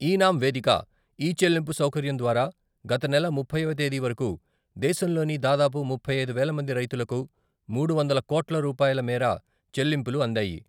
ఈ నామ్ వేదిక, ఈ చెల్లింపు సౌకర్యం ద్వారా గత నెల ముప్పైవ తేదీ వరకు దేశంలోని దాదాపు ముప్పై ఐదు వేల మంది రైతులకు మూడు వందల కోట్ల రూపాయల మేర చెల్లింపులు అందాయి.